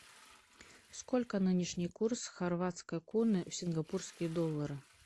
сколько нынешний курс хорватской куны в сингапурские доллары